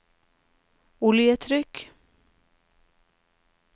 oljetrykk